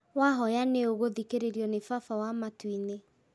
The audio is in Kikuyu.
Wahoya nĩ ũgũthikĩrĩrio nĩ Baba wa matuinĩ